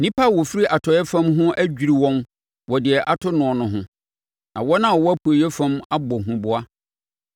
Nnipa a wɔfiri atɔeɛ fam ho adwiri wɔn wɔ deɛ ato noɔ no ho; na wɔn a wɔwɔ apueeɛ fam abɔ huboa.